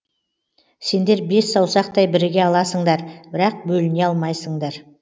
сендер бес саусақтай біріге аласыңдар бірақ бөліне алмайсыңдар